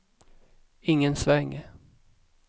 ingen sväng